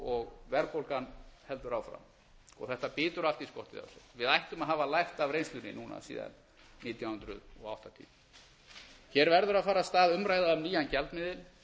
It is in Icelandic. og verðbólgan heldur áfram þetta bítur allt í skottið á sér við ættum að hafa lært af reynslunni núna síðan nítján hundruð áttatíu hér verður að fara af stað umræða um nýjan gjaldmiðil